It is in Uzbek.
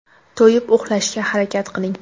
To‘yib uxlashga harakat qiling.